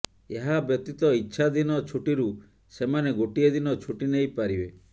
ଏହାବ୍ୟତୀତ ଇଚ୍ଛାଧୀନ ଛୁଟିରୁ ସେମାନେ ଗୋଟିଏ ଦିନ ଛୁଟି ନେଇ ପାରିବେ